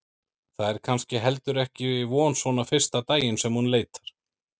Það er kannski heldur ekki von svona fyrsta daginn sem hún leitar.